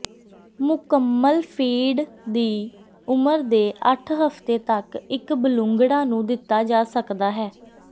ਮੁਕੰਮਲ ਫੀਡ ਦੀ ਉਮਰ ਦੇ ਅੱਠ ਹਫ਼ਤੇ ਤੱਕ ਇੱਕ ਬਲੂੰਗੜਾ ਨੂੰ ਦਿੱਤਾ ਜਾ ਸਕਦਾ ਹੈ